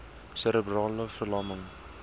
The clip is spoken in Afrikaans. serebrale ver lamming